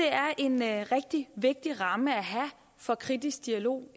er en rigtig vigtig ramme at have for kritisk dialog